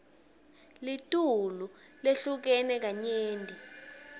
litulu lehlukene kanyenti